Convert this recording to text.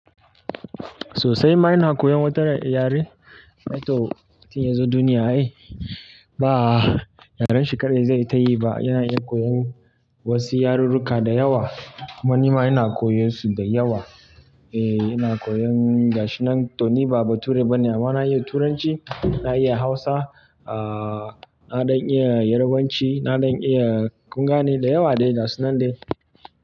Sosai ma ina koyan wata yare, to mutum ya zo duniya ai. Eh, ba yarenshi kaɗai zaiyi tayi ba ai. Yana iya koyan wasu yarurruka da yawa. Kuma nima ina koyan su da yawa. E, ina koyan gashinan to ni ba bature bane, amma na iya Turanci, na iya Hausa, ah, na ɗan iya Yarbanci, na ɗan iya kungane da yawa dai ga su nan dai.